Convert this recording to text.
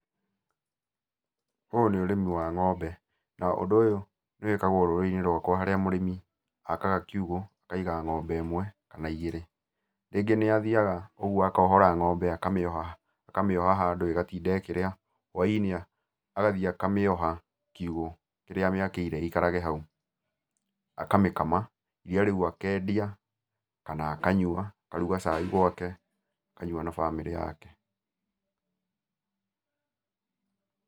Ũyũ nĩ ũrĩmi wa ng'ombe, na ũndũ ũyũ nĩwĩkagwo rũrĩrĩ-inĩ rwakwa harĩa mũrĩmi akaga kiugũ, akaiga ng'ombe ĩmwe, kana igĩrĩ. Rĩngĩ nĩathiaga ũguo akohora ng'ombe akamĩoha ha akamĩoha handũ ĩgatinda ĩkĩrĩa, whainĩ agathiĩ akamĩoha kiugũ kĩrĩa amĩakĩire ĩikarage hau. Akamĩkama, iria rĩu akendia, kana akanyua, akaruga cai gwake akanyua na bamĩrĩ yake.